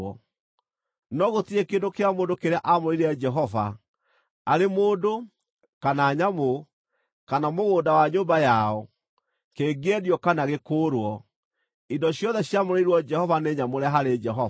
“ ‘No gũtirĩ kĩndũ kĩa mũndũ kĩrĩa aamũrĩire Jehova, arĩ mũndũ, kana nyamũ, kana mũgũnda wa nyũmba yao, kĩngĩendio kana gĩkũũrwo; indo ciothe ciamũrĩirwo Jehova nĩ nyamũre harĩ Jehova.